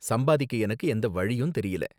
சம்பாதிக்க எனக்கு எந்த வழியும் தெரியல.